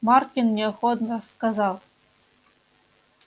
маркин неохотно сказал